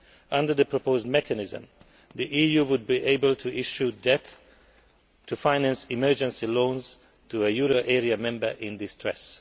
Under the proposed mechanism, the EU would be able to issue debt to finance emergency loans to a euro area member in distress.